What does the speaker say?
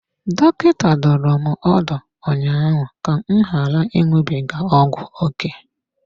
Dọkịta dụrụ m ọdụ ụnyaahụ ka m ghara ịṅụbiga ọgwụ ókè.